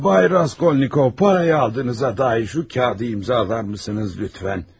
Cənab Raskolnikov, pulu aldığınıza dair bu kağızı imzalayarsınız, zəhmət olmasa?